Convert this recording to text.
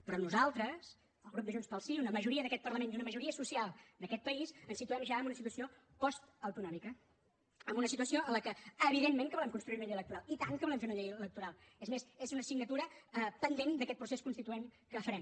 però nosaltres el grup de junts pel sí una majoria d’aquest parlament i una majoria social d’aquest país ens situem ja en una situació postautonòmica en una situació en què evidentment que volem construir una llei electoral i tant que volem fer una llei electoral és més és una assignatura pendent d’aquest procés constituent que farem